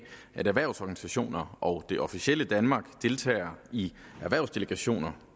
at erhvervsorganisationerne og det officielle danmark deltager i erhvervsdelegationer